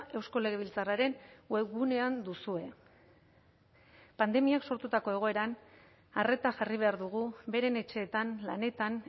eusko legebiltzarraren webgunean duzue pandemiak sortutako egoeran arreta jarri behar dugu beren etxeetan lanetan